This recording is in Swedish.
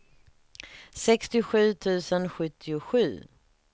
sextiosju tusen sjuttiosju